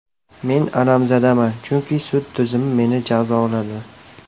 Men alamzadaman, chunki sud tizimi meni jazoladi.